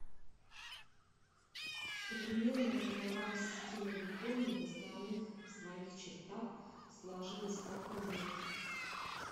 современная правовая система японии в основных своих чертах сложилась в каком веке